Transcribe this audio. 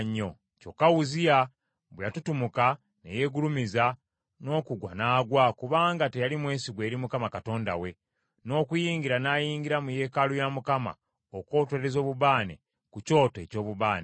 Kyokka Uzziya bwe yatutumuka, ne yeegulumiza, n’okugwa n’agwa kubanga teyali mwesigwa eri Mukama Katonda we, n’okuyingira n’ayingira mu yeekaalu ya Mukama okwotereza obubaane ku kyoto eky’obubaane.